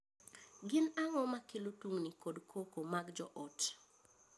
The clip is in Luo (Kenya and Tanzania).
Gin ang’o makelo tungni kod koko mag joot?